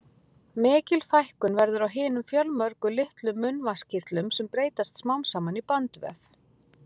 Mikil fækkun verður á hinum fjölmörgu litlu munnvatnskirtlum, sem breytast smám saman í bandvef.